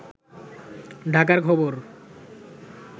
ঢাকার খবর